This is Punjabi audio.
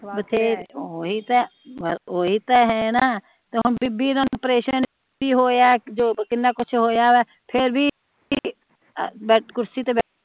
ਓਹੀ ਤਾ ਓਹੀ ਤਾ ਹੈ ਨਾ ਬੀਬੀ ਦਾ ਪ੍ਰੇਸਨ ਸੀ ਹੋਇਆ